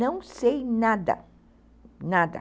Não sei nada, nada.